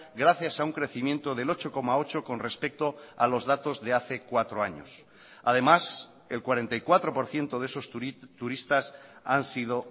gracias a un crecimiento del ocho coma ocho con respecto a los datos de hace cuatro años además el cuarenta y cuatro por ciento de esos turistas han sido